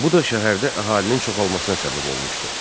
Bu da şəhərdə əhalinin çoxalmasına səbəb olmuşdu.